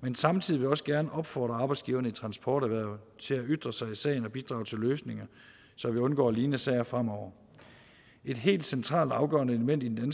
men samtidig vil jeg også gerne opfordre arbejdsgiverne i transporterhvervet til at ytre sig i sagen og bidrage til løsninger så vi undgår lignende sager fremover et helt centralt og afgørende element i den